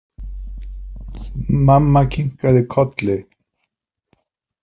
Mamma kinkaði kolli.